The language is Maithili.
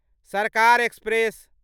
सरकार एक्सप्रेस